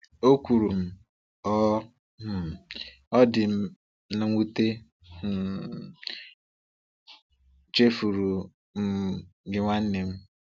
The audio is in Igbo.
O kwuru, um “Ọ um “Ọ dị m nwute, m um chefuru um gị, nwanne m.”